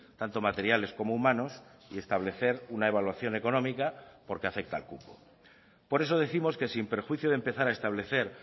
tanto materiales como humanos y establecer una evaluación económica porque afecta al cupo por eso décimos que sin perjuicio de empezar a establecer